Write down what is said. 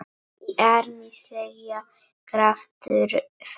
Í armi seggja kraftur felst.